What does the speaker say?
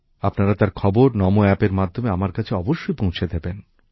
আপনারা তার খবর নমো অ্যাপ এর মাধ্যমে আমার কাছে অবশ্যই পৌঁছে দেবেন